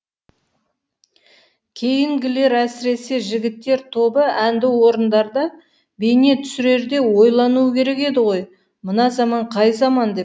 кейінгілер әсіресе жігіттер тобы әнді орындарда бейне түсірерде ойлануы керек еді ғой мына заман қай заман деп